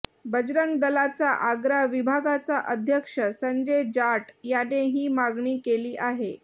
बंजरंग दलाचा आग्रा विभागाचा अध्यक्ष संजय जाट यांने ही मागणी केली आहे